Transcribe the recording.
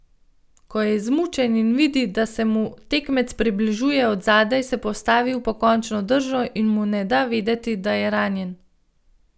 Ko je izmučen in vidi, da se mu tekmec približuje od zadaj, se postavi v pokončno držo in mu ne da vedeti, da je ranjen.